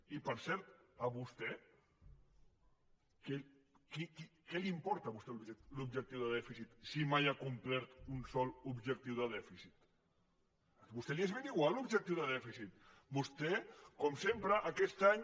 i per cert a vostè què li importa l’objectiu de dèficit si mai ha complert un sol objectiu de dèficit a vostè li és ben igual l’objectiu de dèficit vostè com sempre aquest any